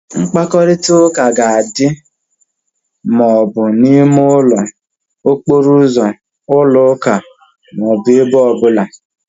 Mkparịta ụka ga-adị ma ọ bụghị na ime ụlọ, okporo ụzọ, ụlọ ụka ọ bụrụ ebe ọ bụla